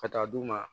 Ka taa d'u ma